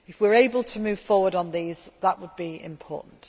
If we are able to move forward on these, that would be important.